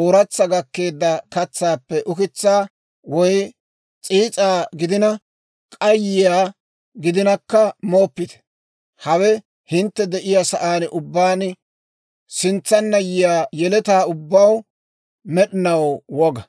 ooratsa gakkeedda katsaappe ukitsaa, woy s'iis'aa gidina, k'ayiyaa gidinakka mooppite. Hawe hintte de'iyaa sa'aan ubbaan sintsanna yiyaa yeletaw ubbaw med'inaw woga.